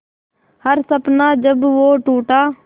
हर सपना जब वो टूटा